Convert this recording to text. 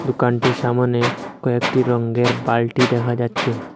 দোকানটির সামোনে কয়েকটি রঙ্গের বালটি দেখা যাচ্ছে।